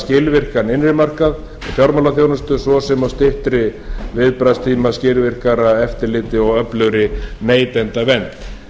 skilvirkan innri markað og fjármálaþjónustu svo sem og styttri viðbragðstíma skilvirkara eftirliti og öflugri neytendavernd